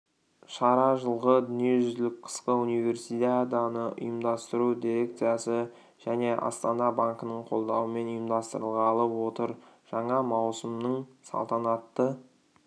шара жылғы дүниежүзілік қысқы универсиаданы ұйымдастыру дерекциясы жне астана банкінің қолдауымен ұйымдастырылғалы отыр жаңа маусымның салтанатты